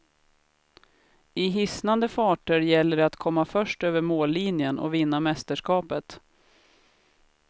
I hisnande farter gäller det att komma först över mållinjen och vinna mästerskapet.